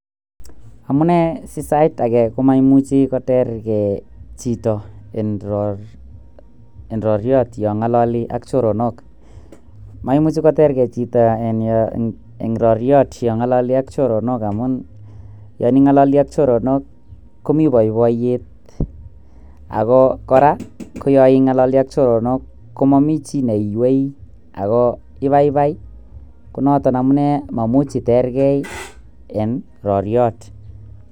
Amunee si age komaimuche kotergee chito en roriot yon ng'ololi ak choronik? moimuche kotergee chito yon ng'ololi ak choronok amun yon ing'ololi ak choronok komi boiboiyot ako kora ko yon ing'ololi ak choronok komomi chii neiywei ako ibaibai ko noton amunee meimuchi itergee en roryot.